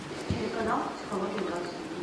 телеканал психология двадцать один